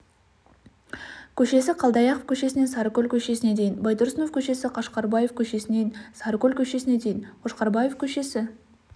көшесі қалдыаяқов көшесінен сарыкөл көшесіне дейін байтұрсынов көшесі қошқарбаев көшесінен сарыкөл көшесіне дейін қошқарбаев көшесі